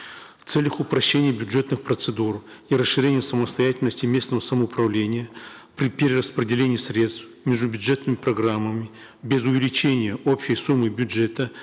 в целях упрощения бюджетных процедур и расширения самостоятельности местного самоуправления при перераспределении средств между бюджетными программами без увеличения общей суммы бюджета